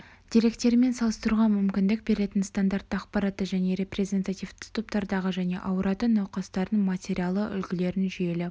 деректерімен салыстыруға мүмкіндік беретін стандартты ақпаратты және репрезентативті топтардағы және ауыратын науқастардың материалы үлгілерін жүйелі